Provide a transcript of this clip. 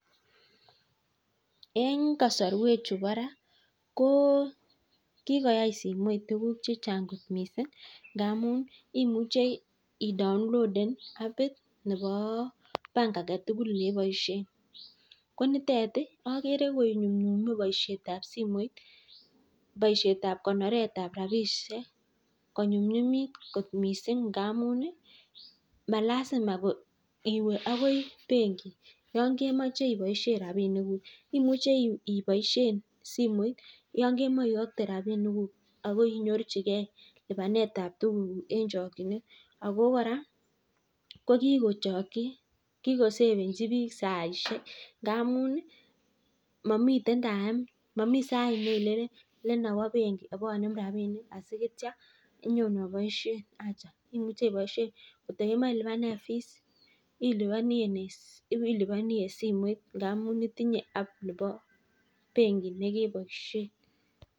En kasarwek chu bo Ra kikoyai simoit tukuk chechang missing ngamun imuche ih download abit nebo Bank aketugul neboisien komitet ih agere konyumnyume baisietab simoit boisietab konoretab rabisiek konyunyumit kot missing ngamun ih malasima iwe akoi bengi Yoon kemoche iwe akoi bengi Yoon kemoche ibaishen rabinik kuk. Imuche ibaishen simoit Yoon kemoche iakte rabinik kuk asinyorchike libanetab tuguk en chakchinet Ako kora kikoa sefenchi bik saisiek ngamun ih mamiten sait nalen inawa bengi ibanem asiitua inyabaishen kot ko kemae ilubanen fees ilubani en simoit ngamun itinye bengi nekeboisien.